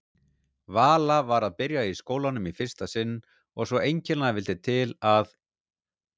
Vala var að byrja í skólanum í fyrsta sinn og svo einkennilega vildi til að